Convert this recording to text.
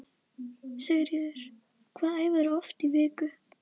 Sigríður: Hvað æfirðu oft í viku?